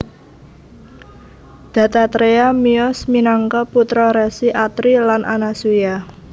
Dattatreya miyos minangka putra Resi Atri lan Anasuya